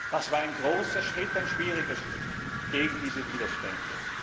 Das war ein großer Schritt, ein schwieriger Schritt gegen diese Widerstände.